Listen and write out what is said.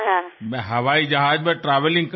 నేను విమాన ప్రయాణంలో ఉంటాను